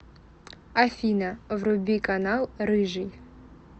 афина вруби канал рыжий